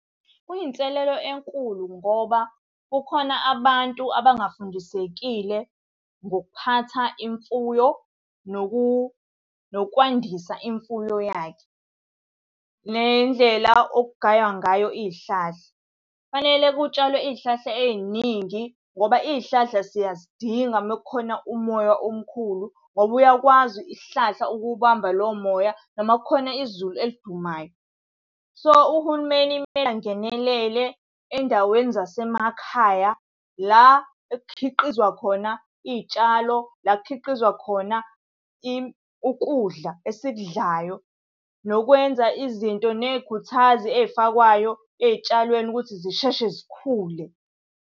Kuyinselelo enkulu ngoba kukhona abantu abangafundisekile ngokuphatha imfuyo nokwandisa imfuyo yakhe, nendlela okugaywa ngayo iy'hlahla. Kufanele kutshalwe iy'hlahla ey'ningi ngoba iy'hlahla siyazidinga uma kukhona umoya omkhulu ngoba uyakwazi isihlahla ukuwubamba lowo moya noma kukhona izulu elidumayo. So, uhulumeni kumele angenelele ey'ndaweni zasemakhaya, la ekukhiqizwa khona iy'tshalo, la kukhiqizwa khona ukudla esikudlayo. Nokwenza izinto, ney'khuthazi ey'fakwayo ey'tshalweni ukuthi zisheshe zikhule.